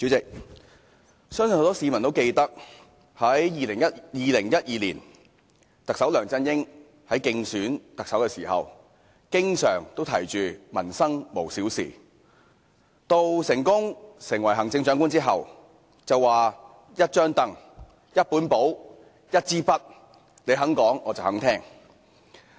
主席，相信很多市民都記得，特首梁振英在2012年競選特首時經常說"民生無小事"，而在成功當選行政長官後便說"一張櫈、一本簿、一支筆，你肯講、我肯聽"。